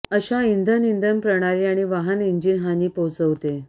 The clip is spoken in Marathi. अशा इंधन इंधन प्रणाली आणि वाहन इंजिन हानी पोहचवते